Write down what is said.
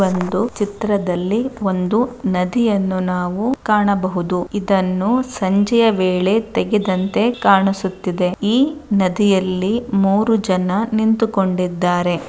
ಒಂದು ಚಿತ್ರದಲ್ಲಿ ಒಂದು ನದಿಯನ್ನು ನಾವು ಕಾಣಬಹುದು ಇದನ್ನು ಸಂಜೆ ವೇಳೆ ತೆಗೆದಂತೆ ಕಾಣಿಸುತ್ತಿದೆ ಈ ನದಿಯಲ್ಲಿ ಮೂರು ಜನ ನಿಂತುಕೊಂಡಿದ್ದಾರೆ.